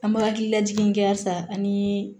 An bɛ hakililajigin kɛ halisa an ni